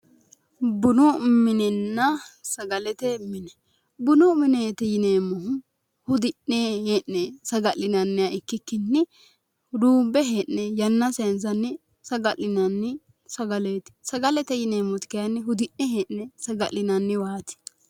Bunu minenna sagalete mine, bunu mineeti yineemmohu hudi'ne hee'ne ikkikki duumbe hee'ne buna angeemmo mineeti. Sagalete yineemmoti kayinni hudi'ne hee'ne saga'linanniwaati.